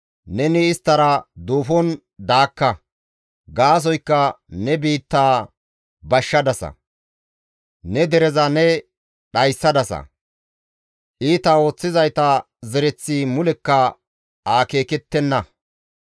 Neni isttara duufon daakka; gaasoykka ne biittaa bashshadasa; ne dereza ne dhayssadasa; iita ooththizayta zereththi mulekka akeekettenna.